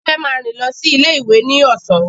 Tife máa rìn lọ sí ilé ìwé ní ọ̀sán.